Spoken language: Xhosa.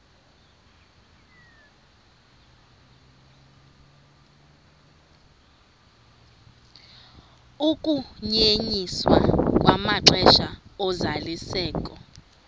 ukunyenyiswa kwamaxesha ozalisekiso